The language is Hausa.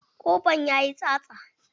Ƙofan yayi tsatsa.